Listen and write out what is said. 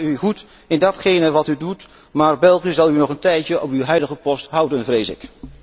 Het ga u goed in datgene wat u doet, maar België zal u nog een tijdje op uw huidige post houden, vrees ik.